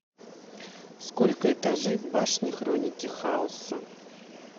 сколько этажей в башне хроники хаоса